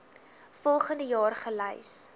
volgens jaar gelys